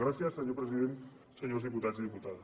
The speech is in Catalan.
gràcies senyor president senyors diputats i diputades